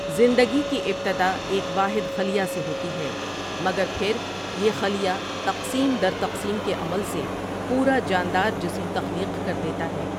زندگی کی ابتدا ایک واحد خلیہ سے ہوتی ہے مگر پھر یہ خلیہ تقسیم در تقسیم کے عمل سے پورا جاندار جسم تخلیق کردیتا ہے ۔